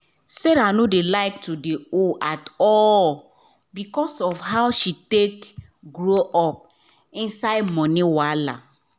sarah no like to de owe at all because of how she take grow up inside money wahala